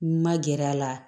N ma gɛrɛ a la